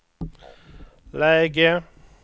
läge